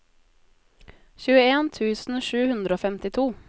tjueen tusen sju hundre og femtito